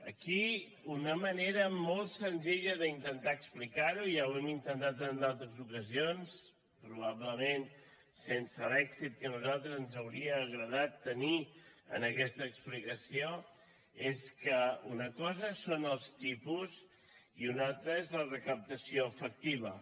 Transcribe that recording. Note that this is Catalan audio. aquí una manera molt senzilla d’intentar explicar ho ja ho hem intentat en d’altres ocasions probablement sense l’èxit que a nosaltres ens hauria agradat tenir en aquesta explicació és que una cosa són els tipus i una altra és la recaptació efectiva